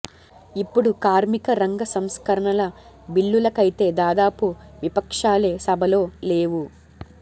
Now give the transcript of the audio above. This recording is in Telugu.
ఇప్పుడు కార్మిక రంగ సంస్కరణల బిల్లులకైతే దాదాపుగా విపక్షాలే సభలో లేవు